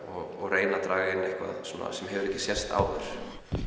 og reyna að draga inn eitthvað sem hefur ekki sést áður